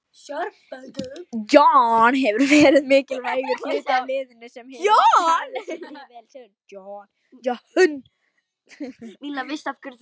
John hefur verið mikilvægur hluti af liðinu, hann hefur staðið sig mjög vel.